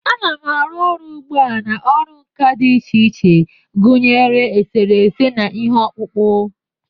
Ana m-arụ ọrụ ugbu a na ọrụ nka dị iche iche, gụnyere eserese, na ihe ọkpụkpụ.